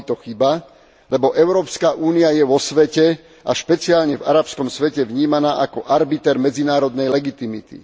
Bola by to chyba, lebo Európska únia je vo svete a špeciálne v arabskom svete vnímaná ako arbiter medzinárodnej legitimity.